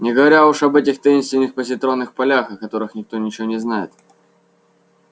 не говоря уже об этих таинственных позитронных полях о которых никто ничего не знает